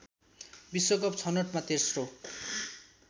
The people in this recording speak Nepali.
विश्वकप छनोटमा तेस्रो